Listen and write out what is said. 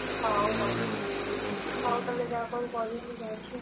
ହଉ ହଉ, ହଉ ତମେ ଯାଅ କଣ କରିବ? ମୁଁ ଯାଉଚି ଆଉ।